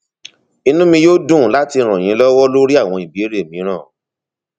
inú mi yóò dùn láti ràn yín lọwọ lórí àwọn ìbéèrè mìíràn